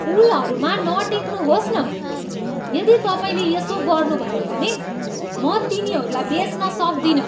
फुलहरूमा नटेक्नुहोस् न! यदि तपाईँले यसो गर्नुभयो भने म तिनीहरूलाई बेच्न सक्दिनँ!